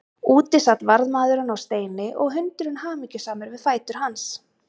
Úti sat varðmaðurinn á steini og hundurinn hamingjusamur við fætur hans.